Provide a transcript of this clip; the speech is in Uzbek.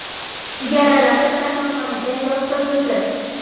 yaralanib, kasalxonaga yotqizildi.